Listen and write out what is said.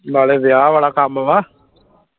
ਨਾਲੇ ਵਿਆਹ ਵਾਲਾ ਕੰਮ ਵਾ